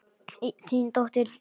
Þín dóttir, Jóna Lind.